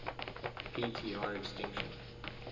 p tr extinction